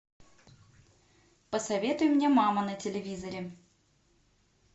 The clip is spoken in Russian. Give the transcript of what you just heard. посоветуй мне мама на телевизоре